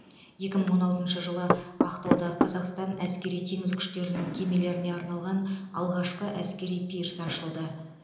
екі мың он алтыншы жылы ақтауда қазақстан әскери теңіз күштерінің кемелеріне арналған алғашқы әскери пирс ашылды